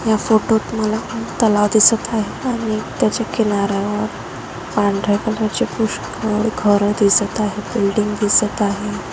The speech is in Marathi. या फोटोत मला तलाव दिसत आहे आणि त्याच्या किनाऱ्यावर पांडर्‍या कलर चे पुषकळ घर दिसत आहे बिल्डिंग दिसत आहे.